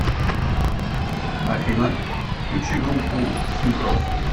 афина включи группу син кросс